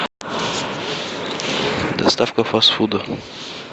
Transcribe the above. доставка фаст фуда